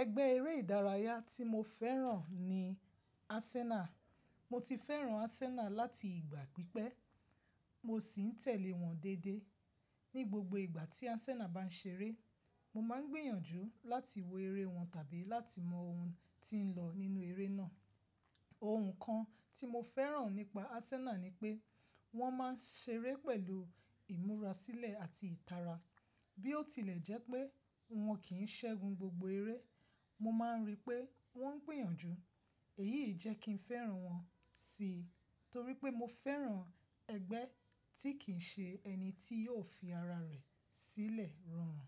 Ẹgbẹ́ eré ìdárayá tí mo fẹ́ràn ni Arsenal. Mo ti fẹ́ràn Arsenal láti ìgbà pípẹ́, mo sì ń tẹ̀lé wọn dédé. Ní gbogbo ìgbà tí Arsenal bá ń ṣeré, mo máa ń gbìyànjú láti wo eré wọn tàbí láti mọ ohun tí ń lọ nínú eré náà. Òhunkan tí mo fẹ́ràn nípa Arsenal ni pé wọ́n máa ń ṣeré pẹ̀lú ìmurasílẹ̀ àti ìtara. Bí ó tilẹ̀ jẹ́ pé wọ́n kì í ṣẹ́gun gbogbo eré, mo máa ń rí pé wọ́n ń gbìyànjú. Èyí ì jẹ́ kí n fẹ́ràn wọ́n síi, torí pé mo fẹ́ràn ẹgbẹ́ tí kì ń ṣe ẹni tí yóò fi ara rẹ̀ sílẹ̀ rọrùn.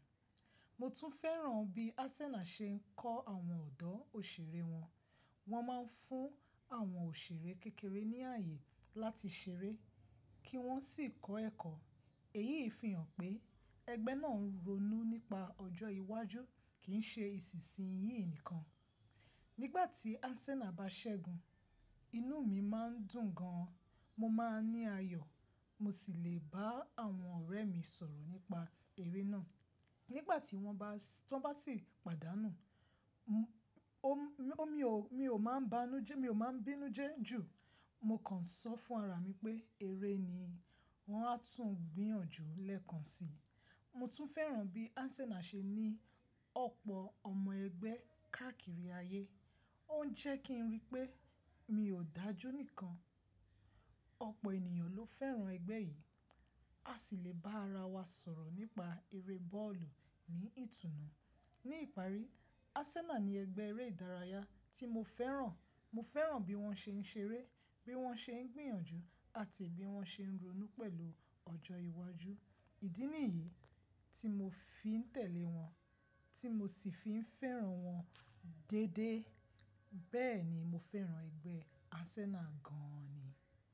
Mo tún fẹ́ràn bí Arsenal ṣe ń kọ́ àwọn ọ̀dọ́ òṣèré wọn. Wọ́n máa ń fún àwọn òṣèré kékeré ní ààyè láti ṣeré, kí wọ́n sì kọ́ ẹ̀kọ́. Èyí fí hàn pé ẹgbẹ́ náà ronú nípa ọjọ́ iwájú kì ń ṣe ìsisìyín nìkan. Nígbà tí Arsenal bá ṣẹ́gun, inú mi má ń dùn gan an, mo máa ń ní ayọ̀, mo sì le bá àwọn ọ̀rẹ́ mi sọ̀rọ̀ nípa eré náà. Nígbà tí wọ́n bá tọn bá sì pàdánù, mi ò máa ń banújẹ́mi mi ò máa ń bínú jẹ jù, mo kàn ń sọ fún ara mi pé, eré ni, wọn a tún gbìyànjú lẹ́ẹ̀kan si. Mo tún fẹ́ràn bí Arsenal ṣe ní ọ̀pọ̀ ọmọ ẹgbẹ́ káàkiri ayé. Ó ń jẹ́ kí n rí pé mi ò dájú nìkan, ọ̀pọ̀ ènìyàn ló fẹ́ràn ẹgbẹ́ yìí, a sì le bá ara wa sọ̀rọ̀ nípa eré bọ́ọ̀lù ní ìtùnú. Ní ìparí, Arsenal ni ẹgbẹ́ eré ìdárayá tí mo fẹ́ràn. Mo fẹ́ràn bí wọ́n ṣe ń ṣeré, bí wọ́n ṣe ń gbìyànjú, àti bí wọ́n ṣe ń ronú pẹ̀lú ọjọ́ iwájú. Ìdí nìyí tí mo fi ń tẹ̀lé wọ́n tí mo sì fi ń fẹ́ràn wọ́n dédé. Bẹ́ẹ̀ ni, mo fẹ́ràn ẹgbẹ́ Arsenal gan ni.